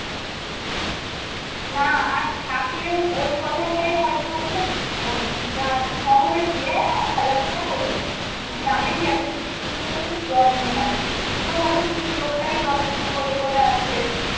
না আর থাকলেও ওই কথাটাই হয় তো খুব অন্য গ্রাম শহরে গিয়ে ভালো লাগলো না ফেলে দিল কিন্তু গ্রামে কি একটা জিনিস কিনল তো খুব যত্নে রাখে তো হয় তো কিনল ওটাই যত্ন করে করে আছে